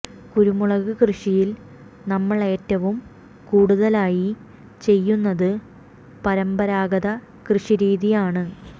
കുരുമുളക് കൃഷിയിൽ നമ്മൾ ഏറ്റവും കൂടുതലായി ചെയ്യുന്നത് പരമ്പരാഗത കൃഷി രീതിയാണ്